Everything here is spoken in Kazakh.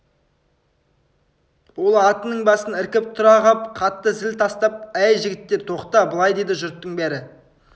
ол атының басын іркіп тұра қап қатты зіл тастап әй жігіттер тоқта былай деді жұрттың бәрі